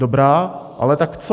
Dobrá, ale tak co?